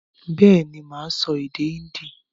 Bẹ́ẹ̀ ni, mà á sọ èdè Hindi